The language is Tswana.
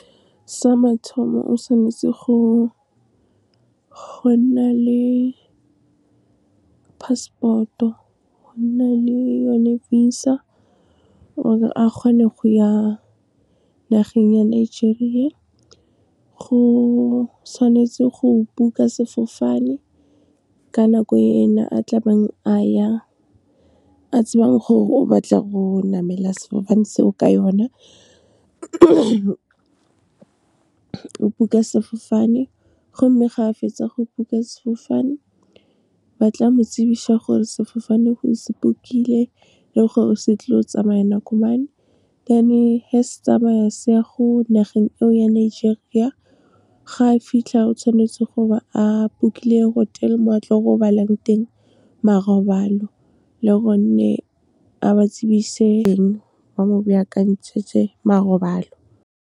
Sa mathomo o tshwanetse go nna le passport-o, go nna le yone visa gore a kgone go ya nageng ya Nigeria. Go tshwanetse go book-a sefofane, ka nako e ene a tlabeng a ya, a tsebang gore o batla go namela sefofane se o ka yona. O book-a sefofane, go mme ga a fetsa go book-a sefofane, ba tla mo tsebisa gore sefofane o se book-ile, le gore se tlile go tsamaya nako mang. Then ge se tsamaya se ya go nageng eo ya Nigeria, ga a fitlha o tshwanetse goba a book-ile hotel mo a tlo robalang teng, marobalo, le gonne a ba tsebise teng ba mo baakantshetse marobalo.